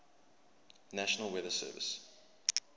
national weather service